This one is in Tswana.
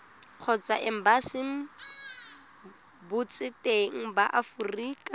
kgotsa embasing botseteng ba aforika